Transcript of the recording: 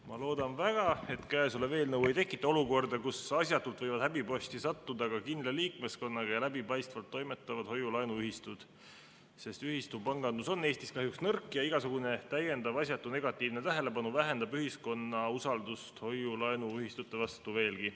Ma loodan väga, et käesolev eelnõu ei tekita olukorda, kus asjatult võivad häbiposti sattuda ka kindla liikmeskonnaga ja läbipaistvalt toimetavad hoiu-laenuühistud, sest ühistupangandus on Eestis kahjuks nõrk ja igasugune asjatu negatiivne tähelepanu vähendab ühiskonna usaldust hoiu-laenuühistute vastu veelgi.